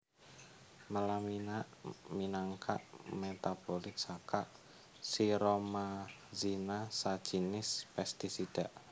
Melamina minangka metabolit saka siromazina sajinis pestisida